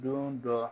Don dɔ